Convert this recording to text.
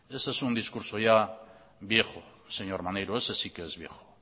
ese es un discurso ya viejo señor maneiro ese sí que es viejo